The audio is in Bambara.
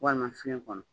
Walima fiɲɛ kɔnɔ